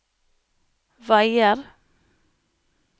veier